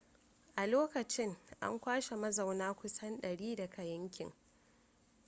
a lokacin an kwashe mazauna kusan 100 daga yankin